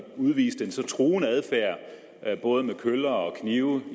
udviste en så truende adfærd og af både køller og knive